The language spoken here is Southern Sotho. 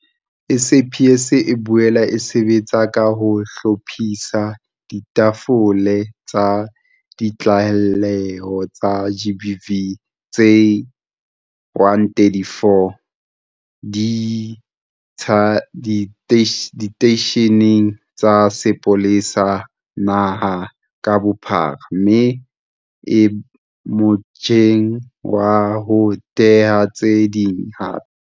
SAPS e boela e sebetsa ka ho hlophisa ditafole tsa ditlaleho tsa GBV tse 134 diteisheneng tsa sepolesa naha ka bophara mme e motjheng wa ho theha tse ding hape.